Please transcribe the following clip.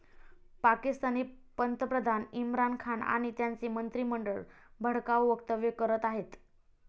पाकिस्तानी पंतप्रधान इम्रान खान आणि त्यांचे मंत्रिमंडळ भडकाऊ वक्तव्य करत आहेत.